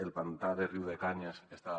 el pantà de riudecanyes està